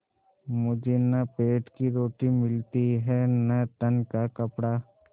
मुझे न पेट की रोटी मिलती है न तन का कपड़ा